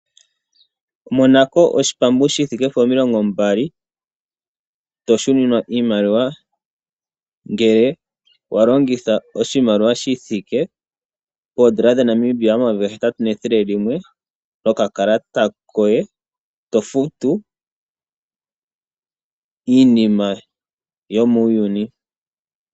Monako oshipambu shi thike po omilongo mbali, to shu ninwa iimaliwa ngele wa longitha oshimaliwa shi thike poodolla dhaNamibia omayovi gahetatu nethele limwe nokakalata koye to futu iinima yomuuyuni.